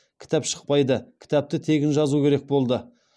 кітап шықпайды кітапты тегін жазу керек болды